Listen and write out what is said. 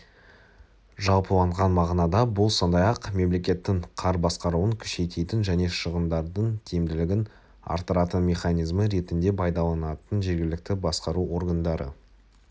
жалпыланған мағынада бұл сондай-ақ мемлекеттің қар басқаруын күшейтетін және шығындардың тиімділігін арттыратын механизмі ретінде пайдаланылатын жергілікті басқару органдары